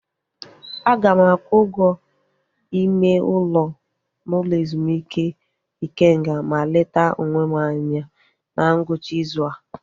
Aga m akwụ ụgwọ ime ụlọ n'ụlọ ezumike Ikenga ma leta onwe m anya na ngwụcha ịzụ a